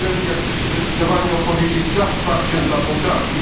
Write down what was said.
Chcę się zdecydowanie opowiedzieć za wsparciem dla Mołdawii.